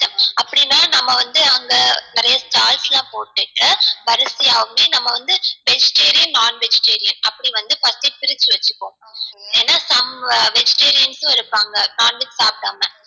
அப்டினா நம்ம வந்து அங்க நிறைய stalls லாம் போட்டுட்டு வரிசையாவே நம்ம வந்து vegetarian non vegeterain அப்டி வந்து first எ பிரிச்சி வச்சிக்குவோம் ஏனா some vegetarians உம் இருப்பாங்க non veg சாப்டாம